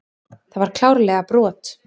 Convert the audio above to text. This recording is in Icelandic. Það var klárlega brot.